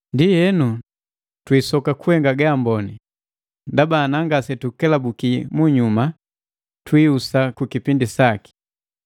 Ndienu, twiisoka kuhenga gaamboni, ndaba ana ngasetukelabuki munyuma twihusa kukipindi saki.